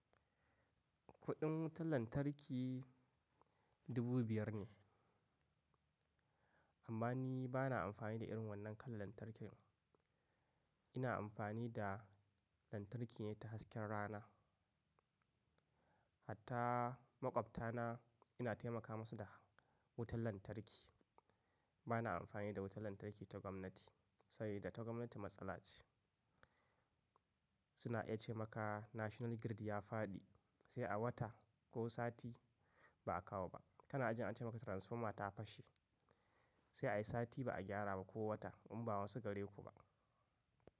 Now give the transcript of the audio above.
Kuɗin wutan lantarki dubu biyar ne. Amma ni bana amfani da irin wannan kalan lantarkin. Ina amfani da lantarki ne ta hasken rana. Hatta maƙwabta na ina taimaka masu da wutan lantarki. Bana amfani da wutan lantarki ta gwamnati, sabida ta gwamnati matsala ce. Suna iya ce maka National Grid ya faɗi sai a wata ko sati ba a kawo ba. Kana ajin ace maka transformer ta fashe sai a yi sati ba a gyara ba ko wata in ba wasu gare ku ba.